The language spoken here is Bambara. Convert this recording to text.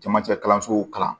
Camancɛ kalansow kalan